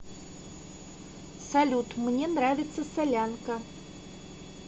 салют мне нравится солянка